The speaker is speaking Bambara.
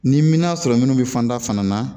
Ni m'a sɔrɔ minnu bɛ fanda fana na